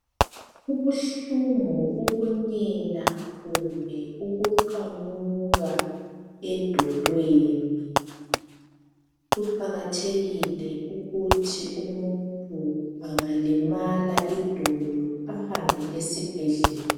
Kubuhlungu ukunyela kumbe ukuqamuka edolweni kuqakathekile ukuthi umuntu angalimala idolo ahambe esibhedlela.